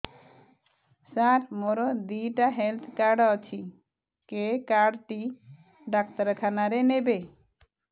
ସାର ମୋର ଦିଇଟା health card ଅଛି କେ କାର୍ଡ ଟି ଡାକ୍ତରଖାନା ରେ ନେବେ